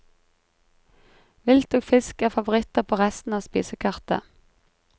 Vilt og fisk er favoritter på resten av spisekartet.